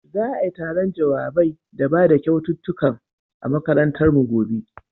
Za'ai taron jawabai da bada kyaututtukan a makarantar mu gobe.